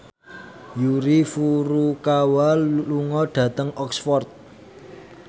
Yuki Furukawa lunga dhateng Oxford